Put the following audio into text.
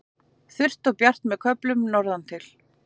Þurrt og bjart með köflum norðantil